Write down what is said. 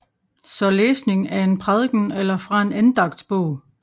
Så læsning af en prædiken eller fra en andagtsbog